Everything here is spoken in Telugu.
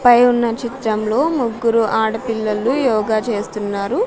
పై ఉన్న చిత్రంలో ముగ్గురు ఆడపిల్లలు యోగా చేస్తున్నారు.